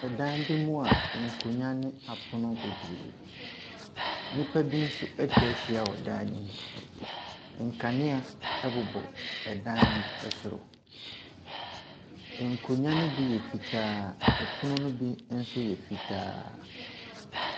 Dan bi mu ankonnwa ne apono bebree. Nnipa bi nso atwa ahyia wɔ dan no mu. Nkanea bobɔ dan no soro. Nkonnwa no bi yɛ fitaa. Pono no bi nso yɛ fitaa.